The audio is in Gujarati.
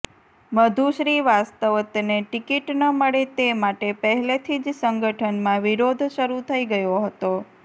મધુ શ્રીવાસ્વતને ટિકિટ ન મળે તે માટે પહેલેથી જ સંગઠનમાં વિરોધ શરુ થઇ ગયો હતો